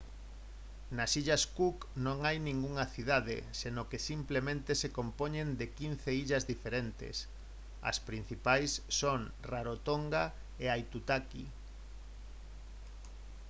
nas illas cook non hai ningunha cidade senón que simplemente se compoñen de 15 illas diferentes as principais son rarotonga e aitutaki